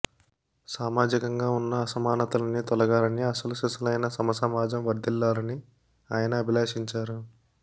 సామాజికంగా ఉన్న అసమానతలన్నీ తొలగాలని అసలుసిసలైన సమసమాజం వర్థిల్లాలని ఆయన అభిలషించారు